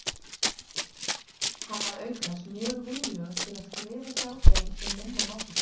Hann var auk þess mjög viljugur til að skrifa hjá þeim sem minna máttu sín.